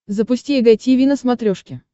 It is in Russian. запусти эг тиви на смотрешке